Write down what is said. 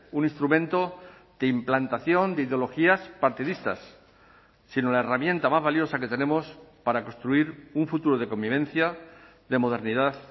un instrumento de implantación de ideologías partidistas sino la herramienta más valiosa que tenemos para construir un futuro de convivencia de modernidad